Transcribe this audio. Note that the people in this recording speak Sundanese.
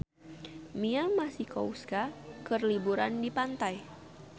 Mia Masikowska keur liburan di pantai